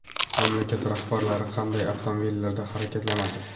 Mamlakat rahbarlari qanday avtomobillarda harakatlanadi?